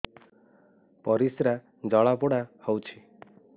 ପରିସ୍ରା ଜଳାପୋଡା ହଉଛି